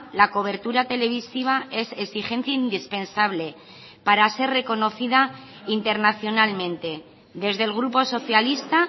la cobertura televisiva es exigencia indispensable para ser reconocida internacionalmente desde el grupo socialista